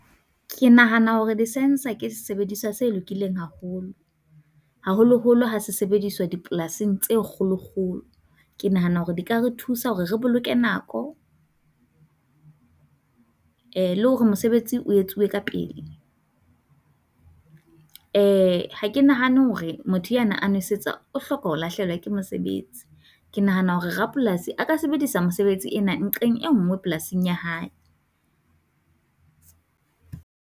Ke nahana hore di sentse ke sesebediswa se lokileng haholo, haholoholo ha se sebediswa dipolasing tse kgolokgolo. Ke nahana hore di ka re thusa hore re boloke nako. Eh le hore mosebetsi o etsuwe ka pele. Eh ha ke nahane hore motho a na a nwesetsa o hloka ho lahlehelwa ke mosebetsi. Ke nahana hore rapolasi a ka sebedisa mosebetsi ena nqeng e nngwe polasing ya hae.